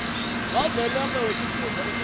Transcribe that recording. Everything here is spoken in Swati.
wavelonkhe wetifundza umele